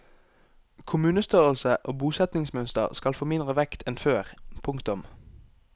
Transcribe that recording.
Kommunestørrelse og bosetningsmønster skal få mindre vekt enn før. punktum